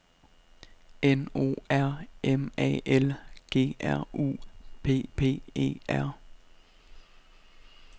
N O R M A L G R U P P E R